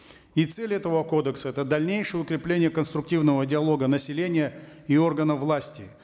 и цель этого кодекса это дальнейшее укрепление конструктивного диалога населения и органов власти